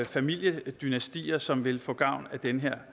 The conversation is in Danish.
familiedynastier som vil få gavn af den her